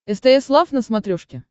стс лав на смотрешке